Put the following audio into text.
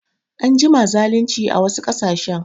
An jima zalinci a wasu ƙasashen